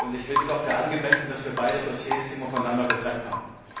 Ich hielt es auch für angemessen, dass wir beide Dossiers immer voneinander getrennt haben.